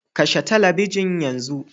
Kashe talabijin yanzu